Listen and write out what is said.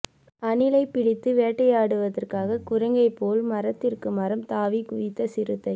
அணிலை பிடித்து வேட்டையாடுவதற்காக குரங்கை போல் மரத்திற்கு மரம் தாவி குதித்த சிறுத்தை